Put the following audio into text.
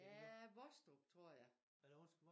Ja Vostrup tror jeg